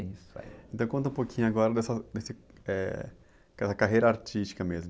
Isso aí.ntão conta um pouquinho agora dessa, desse, eh, da carreira artística mesmo.